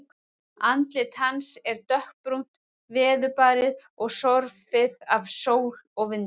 Andlit hans er dökkbrúnt, veðurbarið og sorfið af sól og vindum.